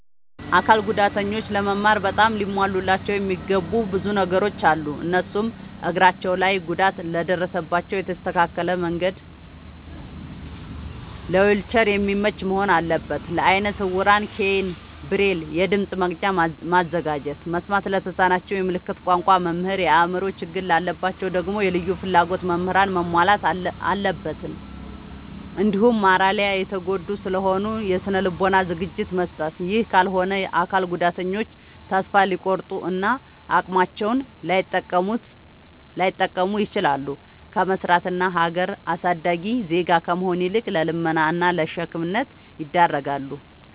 አካል ጉዳተኞች ለመማር በጣም ሊሟሉላቸው የሚገቡ ብዙ ነገሮ አሉ። እነሱም፦ እግራቸው ላይ ጉዳት ለደረሰባቸው የተስተካከለ መንድ ለዊልቸር የሚመች መሆን አለበት። ለአይነ ስውራን ኬይን፣ ብሬል፤ የድምፅ መቅጃ ማዘጋጀት፤ መስማት ለተሳናቸው የምልክት ቋንቋ መምህር፤ የአእምሮ ችግር ላለባቸው ደግሞ የልዩ ፍላጎት ምህራንን ማሟላት አለብትን። እንዲሁም ማራሊ የተጎዱ ስለሆኑ የስነ ልቦና ዝግጅት መስጠት። ይህ ካልሆነ አካል ጉዳተኞች ተሰፋ ሊቆርጡ እና አቅማቸውን ላይጠቀሙ ይችላሉ። ከመስራት እና ሀገር አሳዳጊ ዜጋ ከመሆን ይልቅ ለልመና እና ለሸክምነት ይዳረጋሉ።